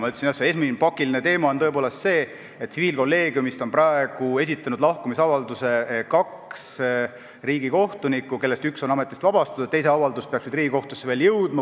Nagu ma ütlesin, esimene pakiline teema on tõepoolest see, et tsiviilkolleegiumist on praegu esitanud lahkumisavalduse kaks riigikohtunikku, kellest üks on ametist vabastatud ja teise avaldus peaks nüüd veel Riigikohtusse jõudma.